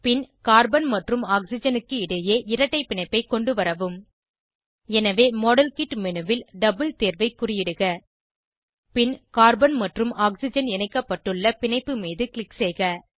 பின் carbon மற்றும் ஆக்சிஜனுக்கு இடையே இரட்டை பிணைப்பை கொண்டுவரவும் எனவே மாடல்கிட் மேனு ல் டபிள் தேர்வை குறியிடுக பின் கார்பன் மற்றும் ஆக்சிஜன் இணைக்கப்பட்டுள்ள பிணைப்பு மீது க்ளிக் செய்க